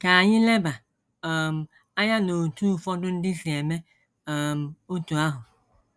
Ka anyị leba um anya n’otú ụfọdụ ndị si eme um otú ahụ.